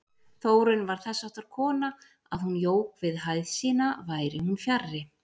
Þórunn var þessháttar kona að hún jók við hæð sína væri hún fjarri.